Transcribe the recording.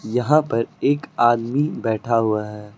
यहां पर एक आदमी बैठा हुआ है।